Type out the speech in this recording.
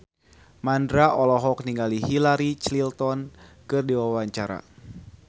Mandra olohok ningali Hillary Clinton keur diwawancara